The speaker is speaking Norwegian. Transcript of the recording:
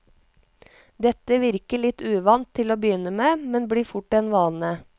Dette virker litt uvant til å begynne med, men blir fort en vane.